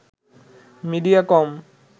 media কম